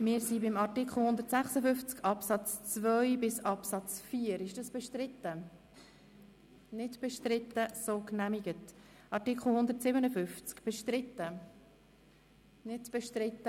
Wer den Artikel 156 Absatz 1 annimmt, stimmt Ja, wer diesen ablehnt, stimmt Nein.